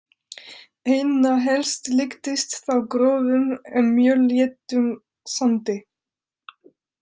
Einna helst líktist það grófum en mjög léttum sandi.